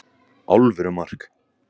Alvöru mark!